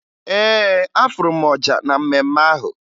Ee, afụrụ m ọja na mmemme ahụ